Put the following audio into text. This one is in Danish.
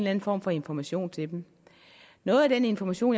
anden form for information til dem noget af den information